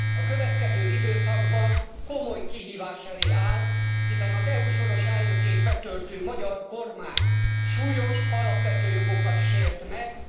A következő időszakban komoly kihívás előtt áll, hiszen az EU soros elnökségét betöltő magyar kormány súlyos alapvető jogokat sért meg.